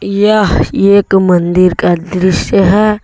यह एक मंदिर का दृश्य है।